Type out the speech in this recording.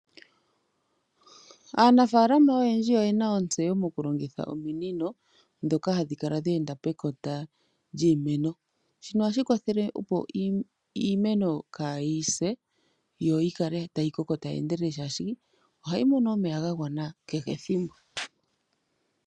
Aanafalama oyendji oye na ontseyo mukulongitha ominino ndhoka ohadhikala dheenda pekota lyiimeno. Shika ohashi kwathele opo iimeno kaayise yo yikale ta yikoko tayi endelele oshoka ohayimono omeya gagwana kehe ethimbo.